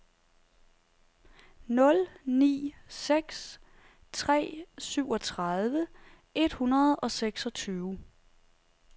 nul ni seks tre syvogtredive et hundrede og seksogtyve